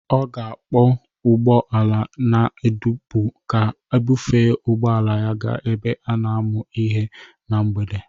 Ọ ga-akpọ ụgbọ ala na-adọkpụ ka ọ bufee ụgbọ ala ya gaa ebe a na-amụ ihe na mgbede